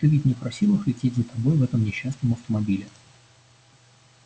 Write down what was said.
ты ведь не просил их лететь за тобой в этом несчастном автомобиле